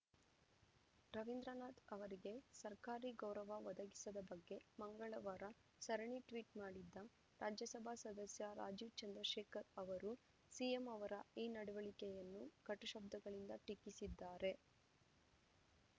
ರವಿಂದ್ರನಾಥ್‌ ಅವರಿಗೆ ಸರ್ಕಾರಿ ಗೌರವ ಒದಗಿಸದ ಬಗ್ಗೆ ಮಂಗಳವಾರ ಸರಣಿ ಟ್ವೀಟ್‌ ಮಾಡಿದ್ದ ರಾಜ್ಯಸಭಾ ಸದಸ್ಯ ರಾಜೀವ್‌ ಚಂದ್ರಶೇಖರ್‌ ಅವರೂ ಸಿಎಂ ಅವರ ಈ ನಡವಳಿಕೆಯನ್ನು ಕಟು ಶಬ್ದಗಳಿಂದ ಟೀಕಿಸಿದ್ದಾರೆ